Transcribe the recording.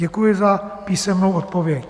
Děkuji za písemnou odpověď.